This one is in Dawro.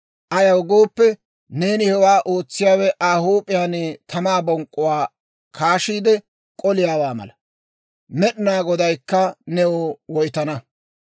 Ayaw gooppe, neeni hewaa ootsiyaawe Aa huup'iyaan tamaa bonk'k'uwaa kaashiide k'oliyaawaa mala. Med'inaa Godaykka new woytana.